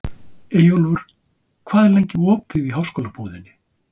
Eyjólfur, hvað er lengi opið í Háskólabúðinni?